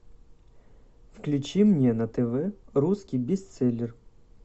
включи мне на тв русский бестселлер